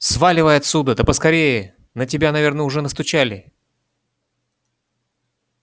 сваливай отсюда да поскорее на тебя наверное уже настучали